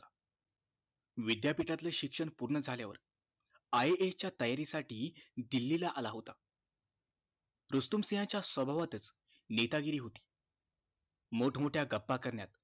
विद्यापीठातले शिक्षण पुर्ण झाल्यावर IAS च्या तयारी साठी दिल्ली ला आला होता रुस्तुम सिंह च्या स्वभावातच नेतागिरी होती मोठमोठ्या गप्पा करण्यात